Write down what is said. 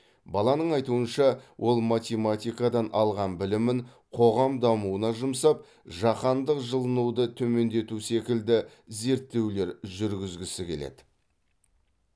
баланың айтуынша ол математикадан алған білімін қоғам дамуына жұмсап жаһандық жылынуды төмендету секілді зерттеулер жүргізгісі келеді